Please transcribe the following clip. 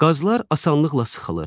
Qazlar asanlıqla sıxılır.